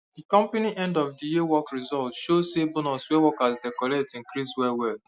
the company end of the year work result show say bonus wey workers dey collect increase well well